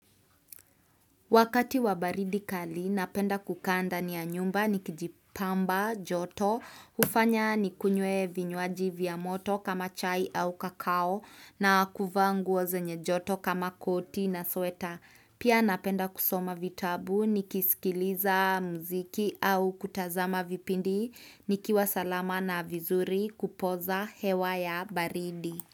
Wakati wa baridi kali, napenda kukaa ndani ya nyumba, nikijipamba, joto, hufanya nikunywe vinywaji vya moto kama chai au kakao na kuvaa nguo zenye joto kama koti na sweta. Pia napenda kusoma vitabu, nikisikiliza muziki au kutazama vipindi, nikiwa salama na vizuri kupoza hewa ya baridi.